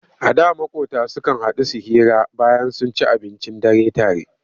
A da maƙota sukan haɗu su hira bayan sun ci abincin dare tare.